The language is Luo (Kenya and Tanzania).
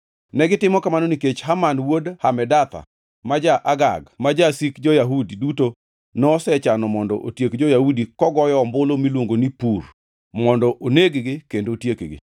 Negitimo kamano nikech Haman wuod Hamedatha, ma ja-Agag, ma jasik jo-Yahudi duto, nosechano mondo otiek jo-Yahudi kogoyo ombulu (miluongo ni pur) mondo oneg-gi kendo otiekgi.